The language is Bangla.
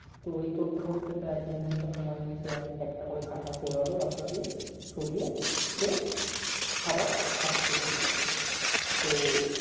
তো এই করতে করতে প্রায় এক দু ঘন্টা সময় নিয়ে সে একটা একটা করে কাটা সরালো রাস্তা দিয়ে সরিয়ে সে আবার হাটতে শুরু করলো তো